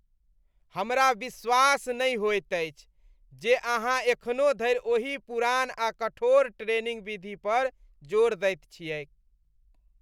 हमरा विश्वास नहि होइत अछि जे अहाँ एखनो धरि ओही पुरान आ कठोर ट्रेनिंग विधि पर जोर दैत छियैक!